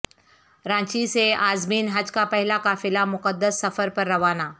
رانچی سے عازمین حج کا پہلا قافلہ مقدس سفر پر رونہ